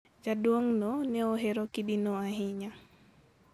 Jaduong'no ne ohero kidino ahinya.